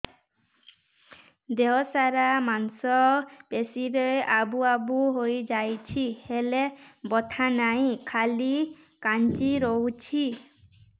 ଦେହ ସାରା ମାଂସ ପେଷି ରେ ଆବୁ ଆବୁ ହୋଇଯାଇଛି ହେଲେ ବଥା ନାହିଁ ଖାଲି କାଞ୍ଚି ରଖୁଛି